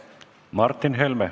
Martin Helme.